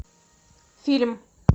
фильм